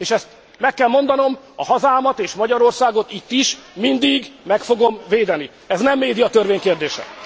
És, ezt meg kell mondanom, a hazámat és Magyarországot mindig meg fogom védeni. Ez nem médiatörvény kérdése!